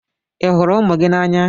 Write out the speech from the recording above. Ị hụrụ ụmụ ụmụ gị n'anya?